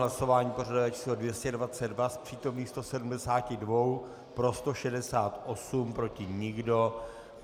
Hlasování pořadové číslo 222, z přítomných 172 pro 168, proti nikdo.